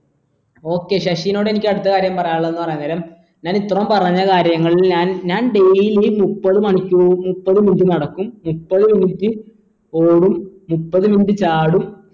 okay ശശിനോടെനിക്ക് അടുത്ത കാര്യം പറയാനുള്ളത്ന്ന് പറയാൻ നേരം ഞാൻ ഇത്രം പറഞ്ഞ കാര്യങ്ങളിൽ ഞാൻ ഞാൻ daily മുപ്പത് മണിക്കൂർ മുപ്പത് minute നടക്കും മുപ്പത് minute ഓടും മുപ്പത് minute ചാടും